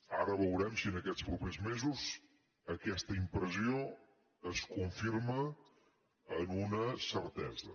ara veurem si aquests propers mesos aquesta impressió es confirma en una certesa